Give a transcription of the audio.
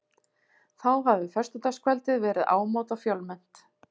Nú hafi föstudagskvöldið verið ámóta fjölmennt